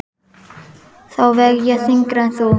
Þá veg ég þyngra en þú.